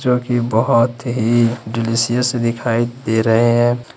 जो कि बहोत ही डिलीशियस दिखाई दे रहे हैं।